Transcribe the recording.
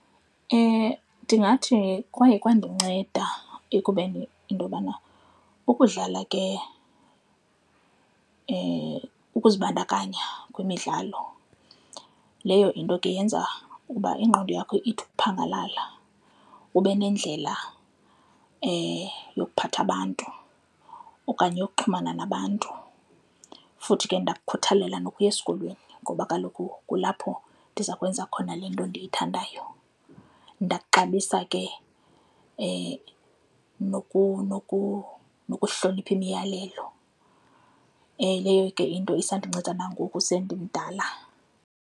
Ndingathi kwaye kwandinceda ekubeni into yobana ukudlala ke ukuzibandakanya kwimidlalo leyo into ke yenza ukuba ingqondo yakho ithi ukuphangalala ube nendlela yokuphatha abantu okanye yokuxhumana nabantu. Futhi ke ndakukuthalela nokuya esikolweni ngoba kaloku kulapho ndiza kwenza khona le nto endiyithandayo, ndakuxabisa ke nokuhlonipha imiyalelo, leyo ke into isandinceda nangoku sendimdala.